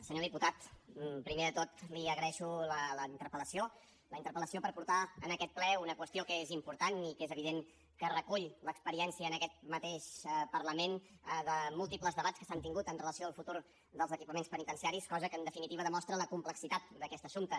senyor diputat primer de tot li agraeixo la interpel·lació la interpel·lació per portar en aquest ple una qüestió que és important i que és evident que recull l’experiència en aquest mateix parlament de múltiples debats que s’han tingut amb relació al futur dels equipaments penitenciaris cosa que en definitiva demostra la complexitat d’aquest assumpte